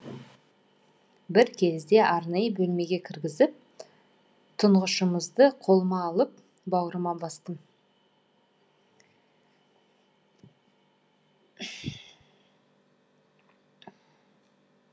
бір кезде арнайы бөлмеге кіргізіп тұңғышымызды қолыма алып бауырыма бастым